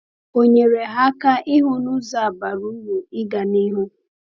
O nyere ha aka ịhụ na ụzọ a bara uru ịga n’ihu.